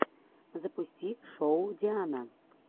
запусти шоу диана